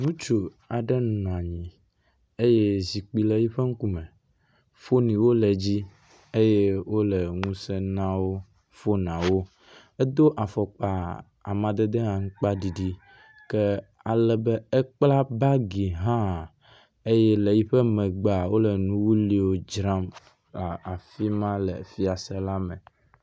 Ŋutsu aɖe nɔ anyi eye zikpui le yiƒe ŋkume. Foniwo le edzi eye wo le ŋuse na wo fonawo. Edo afɔkpa amadede aŋkpaɖiɖi ke alebe ekpla bagi hã eye le yiƒe megbea wo le nu wuwliwo dzram le afi ma le fiase la me.